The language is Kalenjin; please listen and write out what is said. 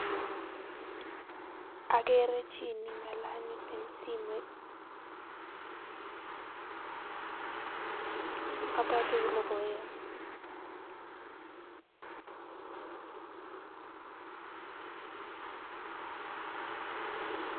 Akerei chi neng'alali eng simet ak abwoti ale boyot